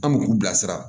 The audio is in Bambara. An bɛ k'u bilasira